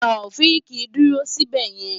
Taofiq dúró síbẹ̀ yẹn!